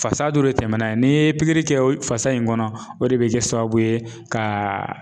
Fasa dɔ de tɛmɛna ye n'i ye pikiri kɛ o fasa in kɔnɔ o de bɛ kɛ sababu ye ka